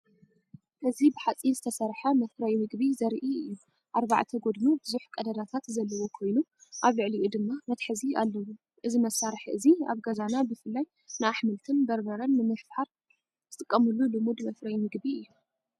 እዚ ብሓጺን ዝተሰርሐ መፍረዪ መግቢ ዘርኢ እዩ። ኣርባዕተ ጎድኑ ብዙሕ ቀዳዳት ዘለዎ ኮይኑ፡ ኣብ ልዕሊኡ ድማ መትሓዚ ኣለዎ። እዚ መሳርሒ እዚ ኣብ ገዛና ብፍላይ ንኣሕምልትን በርበረን ንምፍሓር ዝጥቀሙሉ ልሙድ መፍረዪ መግቢ እዩ።